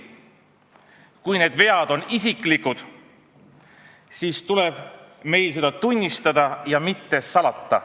Kui need vead on isiklikud, siis tuleb meil seda tunnistada ja mitte salata.